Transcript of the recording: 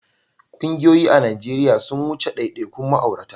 Ƙungiyoyi a Najeriya sun wuce daidaikun ma'aurata.